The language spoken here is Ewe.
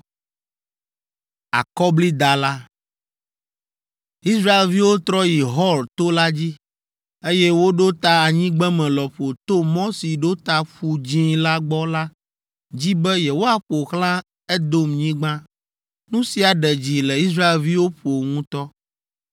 Israelviwo trɔ yi Hor to la dzi, eye woɖo ta anyigbeme lɔƒo to mɔ si ɖo ta Ƒu Dzĩ la gbɔ la dzi be yewoaƒo xlã Edomnyigba. Nu sia ɖe dzi le Israelviwo ƒo ŋutɔ.